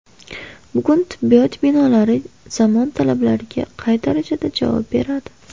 Bugun tibbiyot binolari zamon talablariga qay darajada javob beradi?..